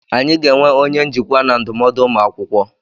Anyị ga-enwe onye njikwa na ndụmọdụ ụmụ akwụkwọ.